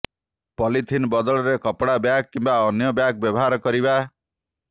polythene ବଦଳରେ କପଡା bag କିମ୍ବା ଅନ୍ୟ ବ୍ୟାଗ୍ ବ୍ୟବହାର କରିବା